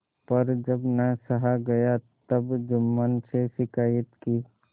पर जब न सहा गया तब जुम्मन से शिकायत की